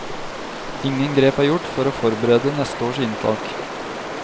Ingen grep er gjort for å forberede neste års inntak.